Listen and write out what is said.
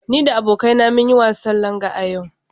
Ni da abokaina mun yi wasan Langa a yau.